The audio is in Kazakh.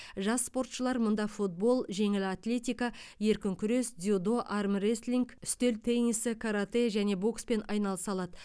жас спортшылар мұнда футбол жеңіл атлетика еркін күрес дзюдо армрестлинг үстел теннисі каратэ және бокспен айналыса алады